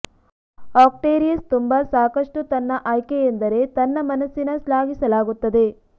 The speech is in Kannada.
ಆಕ್ವೇರಿಯಸ್ ತುಂಬಾ ಸಾಕಷ್ಟು ತನ್ನ ಆಯ್ಕೆ ಎಂದರೆ ತನ್ನ ಮನಸ್ಸಿನ ಶ್ಲಾಘಿಸಲಾಗುತ್ತದೆ